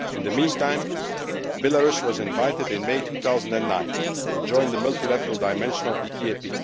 In the meantime, Belarus was invited in May 2009 to join the multilateral dimension of the EAP.